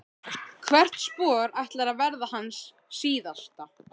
Hvert spor ætlar að verða hans síðasta.